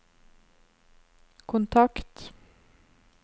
kontakt